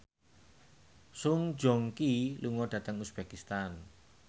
Song Joong Ki lunga dhateng uzbekistan